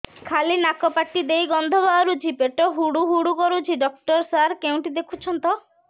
ଖାଲି ନାକ ପାଟି ଦେଇ ଗଂଧ ବାହାରୁଛି ପେଟ ହୁଡ଼ୁ ହୁଡ଼ୁ କରୁଛି ଡକ୍ଟର ସାର କେଉଁଠି ଦେଖୁଛନ୍ତ